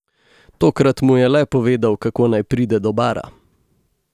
Tokrat mu je le povedal, kako naj pride do bara.